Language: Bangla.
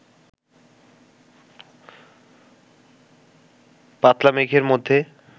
পাতলা মেঘের মধ্যে